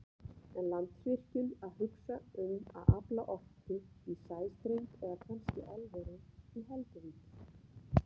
En Landsvirkjun að hugsa um að afla orku í sæstreng eða kannski álveri í Helguvík?